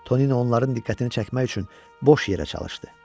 Tonino onların diqqətini çəkmək üçün boş yerə çalışdı.